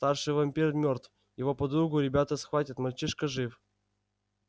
старший вампир мёртв его подругу ребята схватят мальчишка жив